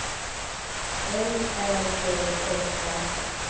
L Ä G E R